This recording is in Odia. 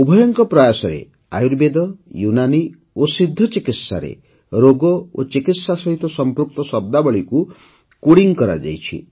ଉଭୟଙ୍କ ପ୍ରୟାସରେ ଆୟୁର୍ବେଦ ୟୁନାନୀ ଓ ସିଦ୍ଧ ଚିକିତ୍ସାରେ ରୋଗ ଓ ଚିକିତ୍ସା ସହିତ ସଂପୃକ୍ତ ଶବ୍ଦାବଳୀକୁ କୋଡିଂ କରାଯାଇଛି